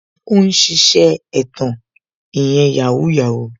Ó ń ṣiṣẹ́ ẹ̀tàn ìyẹn "Yahoo Yahoo"